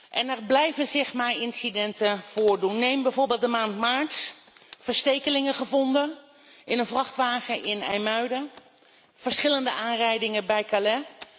En er blijven zich maar incidenten voordoen. Neem bijvoorbeeld de maand maart verstekelingen gevonden in een vrachtwagen in IJmuiden, verschillende aanrijdingen bij Calais.